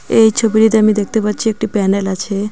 এই ছবিটিতে আমি দেখতে পাচ্ছি একটি প্যান্ডেল আছে .